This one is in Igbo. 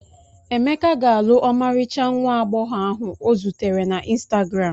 Emeka ga-alụ ọmarịcha nwa agbọghọ ahụ ọ zutere na ịnstagram.